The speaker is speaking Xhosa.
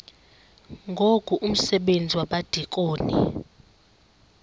ngoku umsebenzi wabadikoni